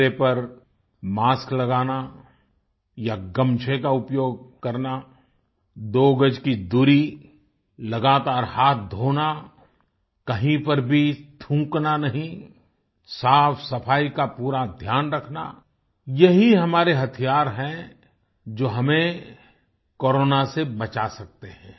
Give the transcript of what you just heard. चेहरे पर मास्क लगाना या गमछे का उपयोग करना दो गज की दूरी लगातार हाथ धोना कहीं पर भी थूकना नहीं साफ़ सफाई का पूरा ध्यान रखना यही हमारे हथियार हैं जो हमें कोरोना से बचा सकते हैं